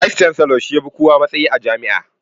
"Vice chancellor" shi ya fi kowa matsayi a jami'a